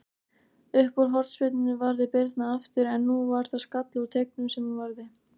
Uppúr hornspyrnunni varði Birna aftur, en nú var það skalli úr teignum sem hún varði.